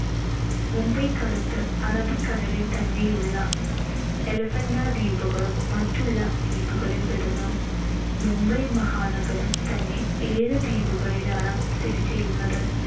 മുംബൈക്കടുത്ത് അറബിക്കടലിൽ തന്നെയുള്ള elephanta ദ്വീപുകളും മറ്റുള്ള ദ്വീപുകളിൽ പെടുന്നു. മുംബൈ മഹാനഗരം തന്നെ ഏഴ് ദ്വീപുകളിലാണ്‌ സ്ഥിതിചെയ്യുന്നത്.